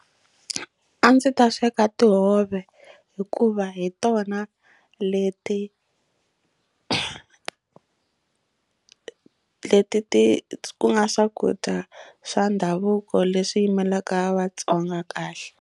A ndzi ta sweka tihove hikuva hi tona leti leti ti nga swakudya swa ndhavuko leswi yimelaka vatsonga kahle.